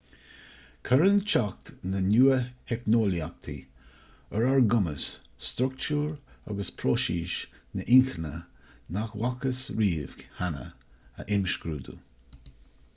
cuireann teacht na nua-theicneolaíochtaí ar ár gcumas struchtúr agus próisis na hinchinne nach bhfacthas riamh cheana a imscrúdú